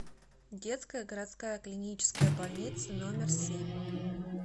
детская городская клиническая больница номер семь